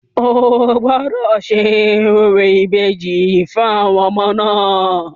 O gbọ́dọ̀ ṣe orò ìbejì fún àwọn ọmọ náà!